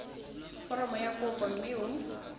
foromo ya kopo mme o